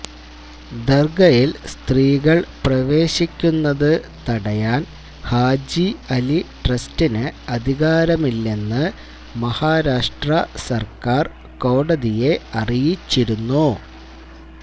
ദര്ഗയില് സ്ത്രീകള് പ്രവേശിക്കുന്നത് തടയാന് ഹാജി അലി ട്രസ്റ്റിന് അധികാരമില്ലെന്ന് മഹാരാഷ്ട്രാ സര്ക്കാര് കോടതിയെ അറിയിച്ചിരുന്നു